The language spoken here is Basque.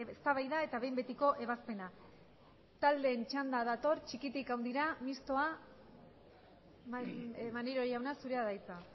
eztabaida eta behin betiko ebazpena taldeen txanda dator txikitik handira mistoa maneiro jauna zurea da hitza